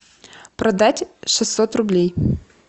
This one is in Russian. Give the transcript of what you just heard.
продать шестьсот рублей